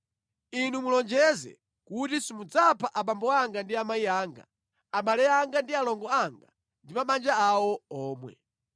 Inu mulonjeze kuti simudzapha abambo anga ndi amayi anga, abale anga ndi alongo anga ndi mabanja awo omwe.”